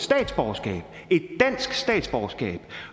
dansk statsborgerskab